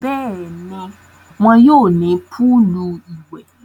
Bẹ́ẹ̀ni, wọn yóò ní púùlù ìwẹ̀.